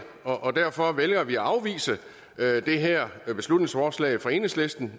og derfor vælger vi at afvise det her beslutningsforslag fra enhedslisten